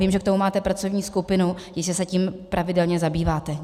Vím, že k tomu máte pracovní skupinu, jistě se tím pravidelně zabýváte.